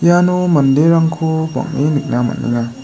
iano manderangko bang·e nikna man·enga.